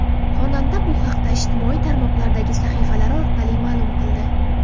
Xonanda bu haqda ijtimoiy tarmoqlardagi sahifalari orqali ma’lum qildi .